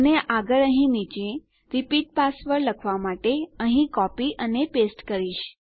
અને આગળ અહીં નીચે રિપીટ યૂર પાસવર્ડ લખવા માટે અહીં કોપી અને પેસ્ટ કરીશ